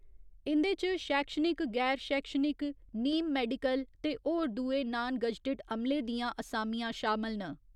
इंदे च शैक्षणिक, गैर शैक्षणिक, नीम मैडिकल ते होर दुए नान गजटिड अमले दियां असामियां शामल न।